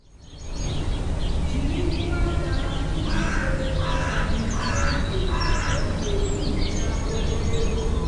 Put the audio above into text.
jiri uwe aka iji chebe aka gị n'oge oge nhicha ogologo.